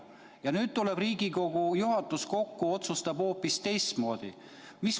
Ja nüüd tuleb Riigikogu juhatus kokku ja otsustab hoopis teistmoodi.